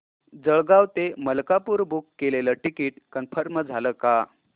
जळगाव ते मलकापुर बुक केलेलं ticket confirm झालं का